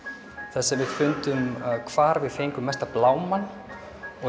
þar sem við fundum hvar við fengum mesta blámann og